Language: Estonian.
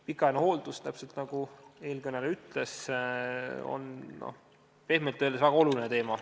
Pikaajaline hooldus on, täpselt nagu eelkõneleja ütles, pehmelt öeldes väga oluline teema.